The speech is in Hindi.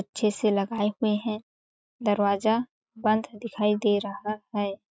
अच्छे से लगाए हुए है। दरवाज़ा बंद दिखाई दे रहा है।